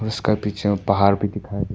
इसका पीछे में पहाड़ भी--